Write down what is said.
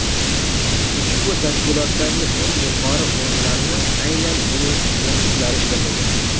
Ushbu tashkilotdagi eng yuqori o‘rinlarni aynan uning bokschilari egallagan.